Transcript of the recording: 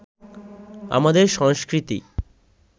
আমাদের সংস্কৃতি